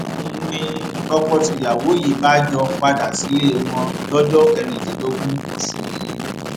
n ní tọkọtìyàwó yìí bá jọ padà sílé wọn lọjọ kẹrìndínlógún oṣù yìí